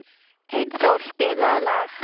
Einþór, spilaðu lag.